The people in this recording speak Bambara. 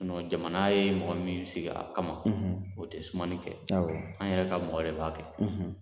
jamana ye mɔgɔ min sigi a kama o te sumani kɛ, anw yɛrɛ ka mɔgɔ de b'a kɛ.